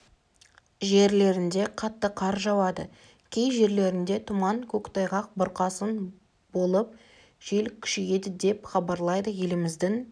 жерлерінде қатты қар жауады кей жерлерде тұман көктайғақ бұрқасын болып жел күшейеді деп хабарлайды еліміздің